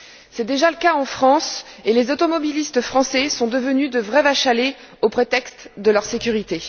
C'est déjà le cas en France, et les automobilistes français sont devenus de vraies vaches à lait au prétexte de leur sécurité.